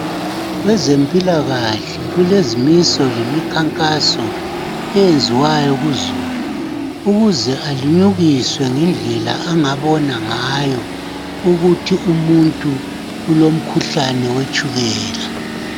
Kwezempilakahle kulezimiso lemikhankaso eyenziwayo kuzulu ukuze alinyukiswe ngendlela angabona ngayo ukuthi umuntu ulomkhuhlane wetshukela.